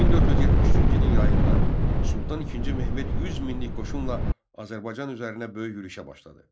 1473-cü ilin yayında Sultan İkinci Mehmet 100 minlik qoşunla Azərbaycan üzərinə böyük yürüşə başladı.